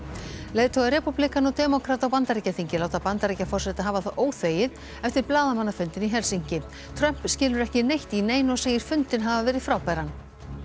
leiðtogar repúblikana og demókrata á Bandaríkjaþingi láta Bandaríkjaforseta hafa það óþvegið eftir blaðamannafundinn í Helsinki Trump skilur ekki neitt í neinu og segir fundinn hafa verið frábæran